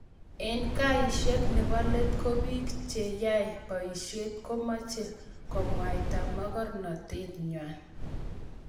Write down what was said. eng kaeshet nebo let ko piik che yae poishet ko mache komwaita magornatet ngwai